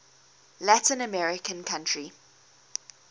latin american country